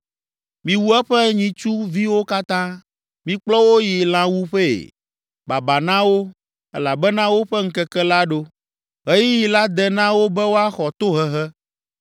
Miwu eƒe nyitsu viwo katã; mikplɔ wo yi lãwuƒee! Baba na wo! Elabena woƒe ŋkeke la ɖo, ɣeyiɣi la de na wo be woaxɔ tohehe.